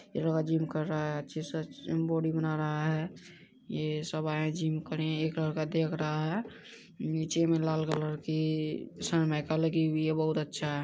एक लड़का जिम कर रहा है अच्छे से जिम बॉडी बना रहा है ये सब आए है जिम करने एक लड़का देख रहा है नीचे मे लाल कलर की सलमाइका लगी हुई है बहुत अच्छा है।